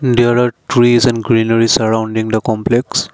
there are trees and greenery surrounding in the complex.